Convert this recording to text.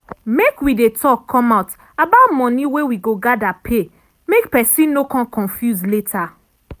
make wi dey talk come out about money wey wi go gather pay make pesin no con confuse later.